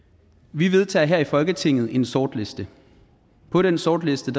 vi vedtager her i folketinget en sortliste på den sortliste